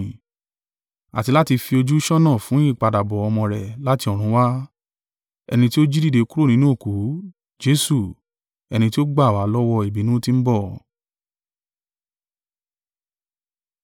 àti láti fi ojú ṣọ́nà fún ìpadàbọ̀ Ọmọ rẹ̀ láti ọ̀run wá, ẹni tí ó jí dìde kúrò nínú òkú, Jesu, ẹni tí ó gbà wá lọ́wọ́ ìbínú tí ń bọ̀.